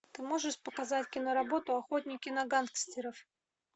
ты можешь показать киноработу охотники на гангстеров